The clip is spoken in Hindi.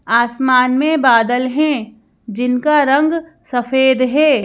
आसमान में बादल हैं जिनका रंग सफेद है।